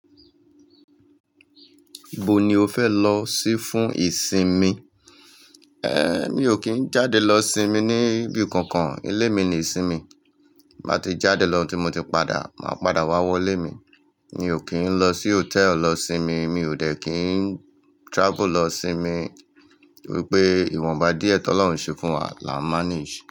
Ibo ni o fe lọ si fún ìsinmi? En, mi ò kín jáde lọ sinmi ní ibi kankan, ilé mi ni ìsinmi. Tín ba ti jáde lọ tí mo ti padà, màá padà wá wọlé mi. Mi ò kín lọ sí hotel lọ sinmi, mi ò dẹ̀ kín travel lọ sinmi, nítorí pé ìwọ̀nba díẹ̀ tó Ọlọ́run ṣe fún wa la máa ń ṣe.